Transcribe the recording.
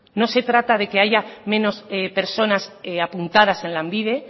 no se trata de que haya menos personas apuntadas en lanbide